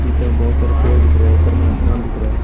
निचे में बहोत सारे पेड़ दिख रहे हैं ऊपर में आसमान दिख रहा है।